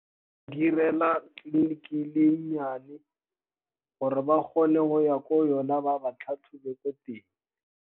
Direla tleliniki e nnyane, gore ba kgone go ya ko yona ba ba tlhatlhobe ko teng.